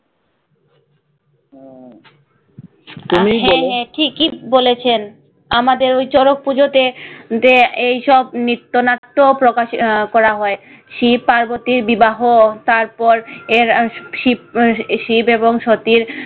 হ্যাঁ ঠিকই বলেছেন আমাদের ওই শরৎ পুজোতে দে এইসব নিত্য-নাট্য প্রকাশ আহ করা হয় শিব পার্বতীর বিবাহ তারপর এর শিব শিব এবং সতী